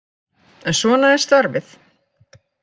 En svona er starfið.